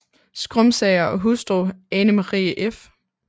Skrumsager og hustru Ane Marie f